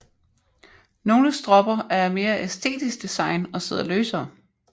Nogle stropper er af mere æstetisk design og sidder løsere